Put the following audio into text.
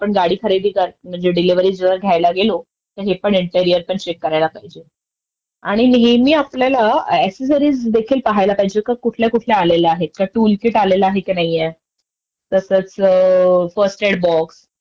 ह्यासारख्या आवश्यक गोष्टी ज्या असतात ते आपण नवीन गाडी घेतांना ते अनिवार्य असतं, आणि ते गाडी not clear त्यांच्याकडूनचं आपल्याला ऍव्हेलेबल होतं त्याच्यामुळे ते पण आपल्याला मिळालय की नाही ऍक्सेसरीजमध्ये हे पण आपण बघायला पाहिजे, नवीन गाडी घेताना